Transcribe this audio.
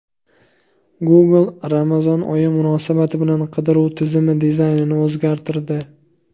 Google Ramazon oyi munosabati bilan qidiruv tizimi dizaynini o‘zgartirdi.